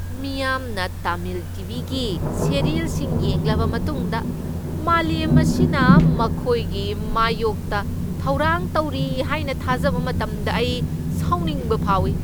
ꯃꯤꯌꯥꯝꯅ Tamil T. V. ꯒꯤ ꯁꯤꯔꯤꯌꯦꯜꯁꯤꯡ ꯌꯦꯡꯂꯕ ꯃꯇꯨꯡꯗ ꯃꯥꯂꯦꯝ ꯑꯁꯤꯅ ꯃꯈꯣꯏꯒꯤ ꯃꯥꯌꯣꯛꯇ ꯊꯧꯔꯥꯡ ꯇꯧꯔꯤ ꯍꯥꯏꯅ ꯊꯥꯖꯕ ꯃꯇꯝꯗ ꯑꯩ ꯁꯥꯎꯅꯤꯡꯕ ꯐꯥꯎꯏ ꯫